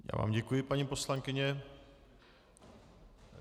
Já vám děkuji, paní poslankyně.